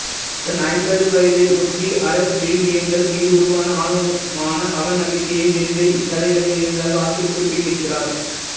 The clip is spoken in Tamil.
தன் ஐம்பது வயதை ஒட்டி அறவிழுமியங்கள் மீது உருவான ஆழமான அவநம்பிக்கையை வெல்லவே இக்கதைகளை எழுதியதாக ஆசிரியர் குறிப்பிட்டிருக்கிறார்